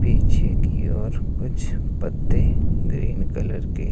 पीछे की ओर कुछ पत्ते ग्रीन कलर के--